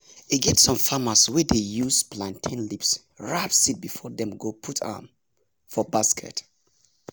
e get some farmers wey dey use plantain leaves wrap seed before dem go put um m for basket